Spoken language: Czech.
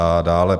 A dále?